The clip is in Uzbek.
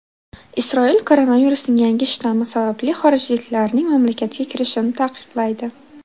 Isroil koronavirusning yangi shtammi sababli xorijliklarning mamlakatga kirishini taqiqlaydi.